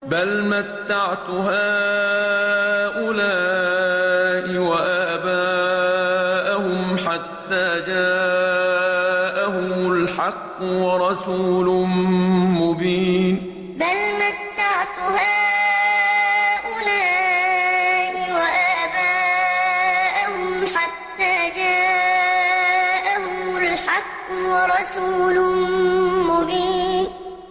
بَلْ مَتَّعْتُ هَٰؤُلَاءِ وَآبَاءَهُمْ حَتَّىٰ جَاءَهُمُ الْحَقُّ وَرَسُولٌ مُّبِينٌ بَلْ مَتَّعْتُ هَٰؤُلَاءِ وَآبَاءَهُمْ حَتَّىٰ جَاءَهُمُ الْحَقُّ وَرَسُولٌ مُّبِينٌ